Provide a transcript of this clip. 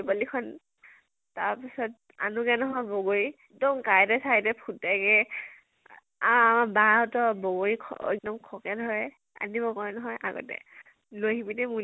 পোৱালী পোৱালী খন, তাৰ্ পিছত আনোগে নহয় বগৰী । এক্দম কাঁইতে চাইতে ফুতেগে আ আৰু আমাৰ বা হঁতৰ ব বগৰী খকে ধৰে । আজি নধৰে নহয়, আগতে । লৈ আহিবি দে